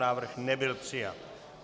Návrh nebyl přijat.